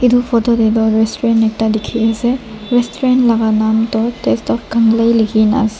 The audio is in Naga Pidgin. edu photo tae toh restaurant ekta dikhiase restaurant la nam toh taste of kanglei ikhina ase.